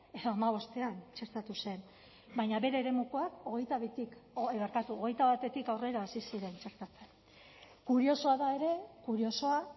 edo hamabostean txertatu zen baina bere eremukoak hogeita batetik aurrera hasi ziren txertatzen kuriosoa da ere kuriosoa